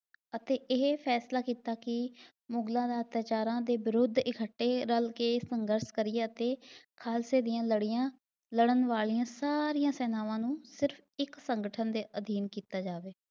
ਅਤੇ ਇਹ ਫੈਸਲਾ ਕੀਤਾ ਕੀ ਮੁਗ਼ਲਾਂ ਦੇ ਅਤਿਆਚਾਰਾਂ ਦੇ ਵਿਰੁੱਧ ਇਕੱਠੇ ਰਲ ਕੇ ਸੰਘਰਸ਼ ਕਰੀਏ ਅਤੇ ਖਾਲਸੇ ਦੀਆਂ ਲੜੀਆਂ ਲੜਨ ਵਾਲੀਆਂ ਸਾਰੀਆਂ ਸੈਨਾਵਾਂ ਨੂੰ ਸਿਰਫ ਇੱਕ ਸੰਗਠਨ ਦੇ ਅਧੀਨ ਕੀਤਾ ਜਾਵੇ।